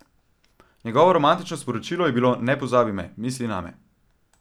Njegovo romantično sporočilo je bilo Ne pozabi me, misli name.